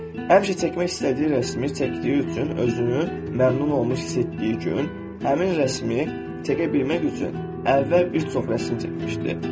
Həmişə çəkmək istədiyi rəsmi çəkdiyi üçün özünü məmnun olmuş hiss etdiyi gün, həmin rəsmi çəkə bilmək üçün əvvəl bir çox rəsm çəkmişdi.